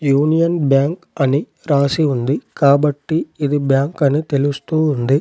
Union Bank అని రాసి ఉంది కాబట్టి ఇది బ్యాంక్ అని తెలుస్తూ ఉంది.